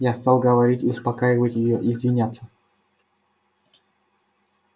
я стал говорить и успокаивать её и извиняться